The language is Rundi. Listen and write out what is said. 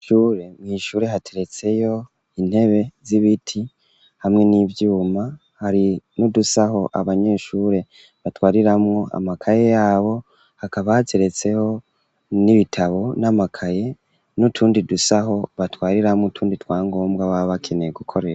Ishure mw'shure hateretseyo intebe z'ibiti hamwe n'ivyuma hari n'udusaho abanyeshure batwariramwo amakaye yabo hakaba hateretseho n'ibitabo n'amakaye n'utundi dusaho batwariramwo utundi twa ngombwa baba bakeneye gukoresha.